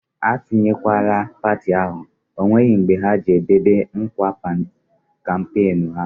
A tunyekwala parti ahụ, ọ nweghị mbe ha ji e dobe nkwa kampenu ha!